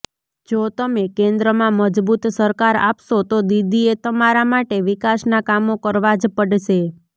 જો તમે કેન્દ્રમાં મજબૂત સરકાર આપશો તો દીદીએ તમારા માટે વિકાસના કામો કરવા જ પડશે